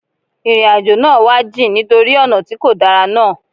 Ìrìn àjò náà wá jìn nítorí ọ̀nà tí kò dára náà.